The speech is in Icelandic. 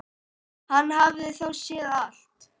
Hann hafði þá séð allt!